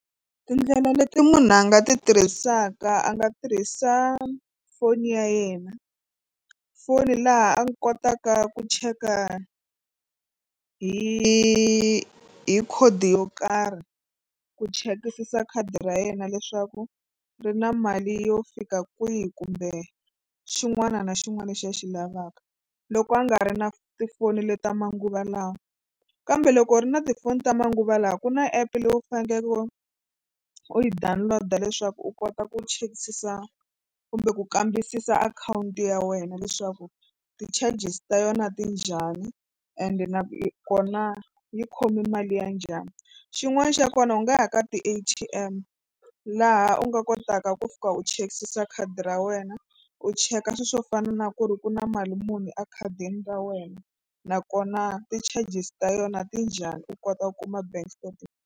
Tindlela leti munhu a nga ti tirhisaka a nga tirhisa foni ya yena foni laha a kotaka ku cheka hi hi khodi yo karhi ku chekisisa khadi ra yena leswaku ri na mali yo fika kwihi kumbe xin'wana na xin'wana lexi a xi lavaka loko a nga ri na tifoni leti ta manguva lawa kambe loko ri na tifoni ta manguva lawa ku na app leyi u faneleke u yi download-a leswaku u kota ku chekisisa kumbe ku kambisisa akhawunti ya wena leswaku ti-charges ta yona ti njhani ende nakona yi khome mali ya njhani. Xin'wana xa kona u nga ya ka ti-A_T_M laha u nga kotaka ku fika u chekisisa khadi ra wena u cheka swilo swo fana na ku ri ku na mali muni ekhadini ra wena nakona ti-charges ta yona ti njhani u kota ku kuma bank .